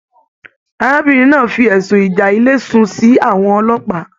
Arábìnrin náà fí ẹsùn ìjà ilé sun sí àwọn ọlọ́pàá.